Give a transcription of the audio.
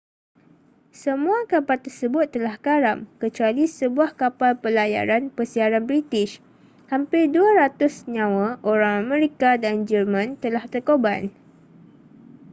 semua kapal tersebut telah karam kecuali sebuah kapal pelayaran pesiaran birtish hampir 200 nyama orang amerika dan jerman telah terkorban